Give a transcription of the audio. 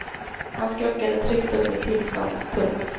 Han skrockade tryggt åt mitt tillstånd. punkt